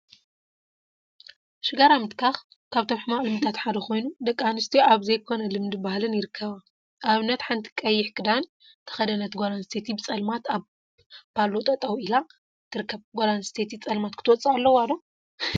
ሽጋራ ምትካክ ሽጋራ ምትካክ ካብቶም ሕማቅ ልምዲታት ሓደ ኮይኑ፤ ደቂ አንስትዮ አብ ዘይኮነ ልምዲን ባህሊን ይርከባ፡፡ አብነት ሓንቲ ቀይሕ ክዳን ተከደነት ጓል አነስተይቲ ብፀልማት አብ ባሎ ጠጠወ ኢላ ትርከብ፡፡ ጓል አነስተይቲ ፀልማት ክትወፅእ አለዋ ዶ?